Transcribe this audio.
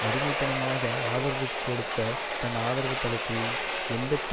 அடிமைத்தனமாக ஆதரவு கொடுத்த தன் ஆதரவுத் தளத்தில் எண்பத்தி